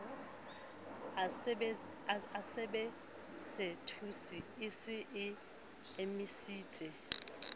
asebesetose e se e emisitse